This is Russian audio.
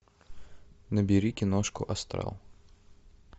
набери киношку астрал